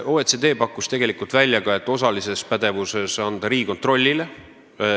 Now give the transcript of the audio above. OECD pakkus tegelikult välja ka selle, et järelevalvepädevuse võiks osaliselt anda Riigikontrollile.